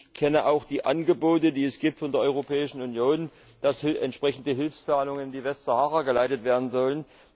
Ich kenne auch die Angebote, die es von der Europäischen Union gibt, dass entsprechende Hilfszahlungen in die Westsahara geleitet werden sollen.